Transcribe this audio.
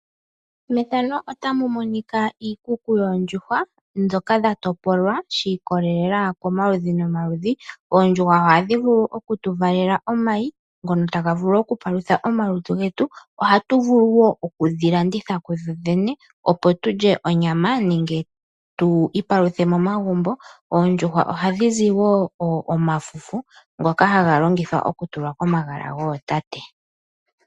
Efano otali ulike iikuku yoondjuhwa dhoka dha topolwa shi ikolelela komaludhi nomaludhi. Oondjuhwa ohadhi vulu oku tu valela oomayi. Ngono taga vulu oku palutha omalutu getu. Oha tu vulu wo okudhi landitha kudhodhene. Opo tulye onyama nenge tu ipaluthe momagumbo. Oondjuhwa ohadhi zi wo omafufu ngoka haga longithwa oku tulwa komagala gootate.